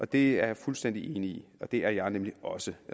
det er jeg fuldstændig enig i det er jeg nemlig også